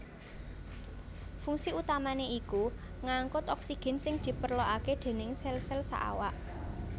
Fungsi utamané iku ngangkut oksigen sing diperlokaké déning sel sel saawak